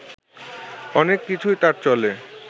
অনেক কিছুই তাঁর চলে